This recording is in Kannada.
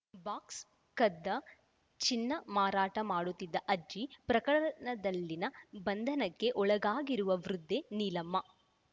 ಬಾಕ್ಸ್‌ಕದ್ದ ಚಿನ್ನ ಮಾರಾಟ ಮಾಡುತ್ತಿದ್ದ ಅಜ್ಜಿ ಪ್ರಕರಣದಲ್ಲಿನ ಬಂಧನಕ್ಕೆ ಒಳಗಾಗಿರುವ ವೃದ್ಧೆ ನೀಲಮ್ಮ